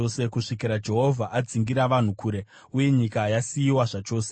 kusvikira Jehovha adzingira vanhu kure, uye nyika yasiyiwa zvachose.